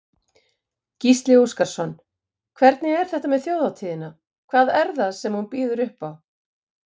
Gísli Óskarsson: Hvernig er þetta með þjóðhátíðina, hvað er það sem hún býður upp á?